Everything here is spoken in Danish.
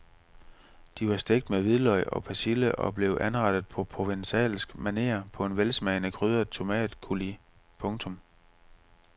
De var stegt med hvidløg og persille og blev anrettet på provencalsk maner på en velsmagende krydret tomatcoulis. punktum